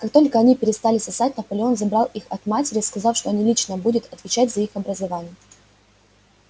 как только они перестали сосать наполеон забрал их от матери сказав что он лично будет отвечать за их образование